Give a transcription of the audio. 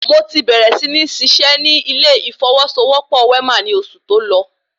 Mo ti bèrè sí ní ṣiṣẹ́ ní ilé ìfọwọ́sowọ́pọ̀ Wema ni oṣù tọ́lọ